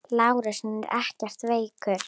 LÁRUS: Hann er ekkert veikur.